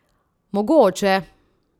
Mogoče!